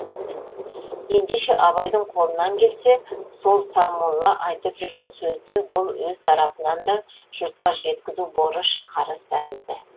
ендеше абайдың қолынан келсе сол сармолла айтып жүрген сөзді бұл өз тарапынан да жұртқа жеткізу борыш қарыз тәрізді